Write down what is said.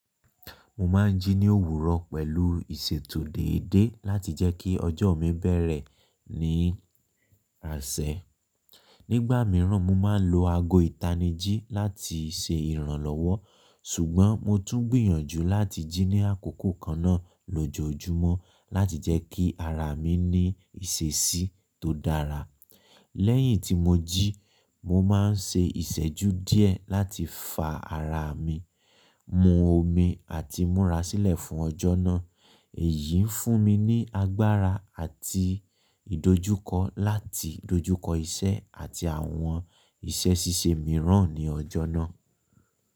Mo máa ń jí ní òwúrọ̀ pẹ̀lú ìṣètò déédé láti jẹ́ kí ọjọ́ mi bẹ̀rẹ̀ ní àṣẹ. Nígbà mìíràn, mo máa ń lo ago ìtanijí láti ṣe ìrànlọ́wọ́, ṣùgbọ́n mo tún gbìyànjú láti jí ní àkókò kan náà lójoojúmọ́ láti jẹ́ kí ara mi ní ìṣèsí tó dára. Lẹ́yìn tí mo jí, mo máa ń ṣe ìṣẹ́jú díẹ̀ láti fa ara mi, mu omi àti múra sílẹ̀ fún ọjọ́ náà. Èyí ń fún mi ní agbára àti ìdojúkọ láti dojúkọ iṣẹ́ àti àwọn iṣẹ́ ṣíṣe mìíràn ní ọjọ́ náà.